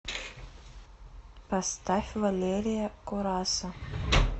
поставь валерия кураса